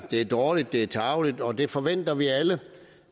er dårligt det er tarveligt og det forventer vi alle